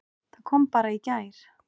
Það kom bara í gær!